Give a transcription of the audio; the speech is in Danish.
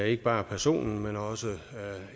ikke bare personen men også